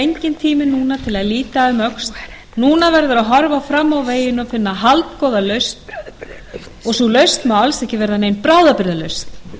enginn tími núna til að líta um öxl núna verður að horfa fram á veginn og finna haldgóða lausn og sú lausn má alls ekki verða nein bráðabirgðalausn